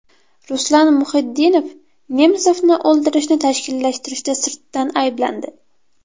Ruslan Muhiddinov Nemsovni o‘ldirishni tashkillashtirishda sirtdan ayblandi.